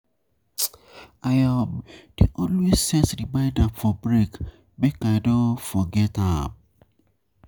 I um dey always set remainder for break make I no um forget am.